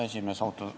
Härra juhataja!